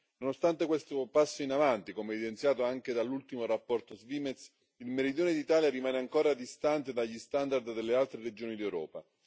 Nonostante questo passo in avanti, come evidenziato anche dall'ultimo rapporto Svimez, il meridione d'Italia rimane ancora distante dagli standard delle altre regioni d'Europa.